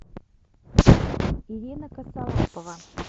ирина косолапова